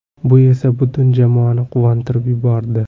Bu esa butun jamoani quvontirib yubordi.